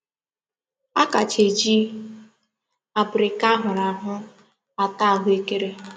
A kacha eji abirika a huru ahu ata ahuekere.